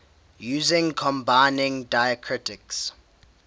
using combining diacritics